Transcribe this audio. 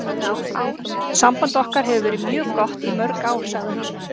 Samband okkar hefur verið mjög gott í mörg ár, sagði hann.